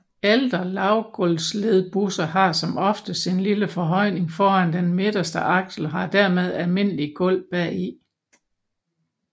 Ældre lavgulvsledbusser har som oftest en lille forhøjning foran den midterste aksel og har dermed almindeligt gulv bagi